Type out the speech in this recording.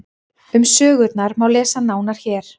Um sögurnar má lesa nánar hér.